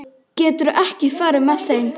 Geturðu ekki farið með þeim?